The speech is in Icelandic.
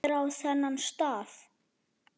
Hver á þennan staf?